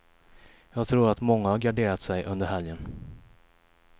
Jag tror att många har garderat sig under helgen.